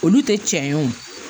Olu tɛ tiɲɛ ye o